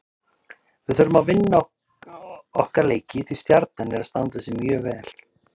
Kristín: Var þetta harkaleg árás?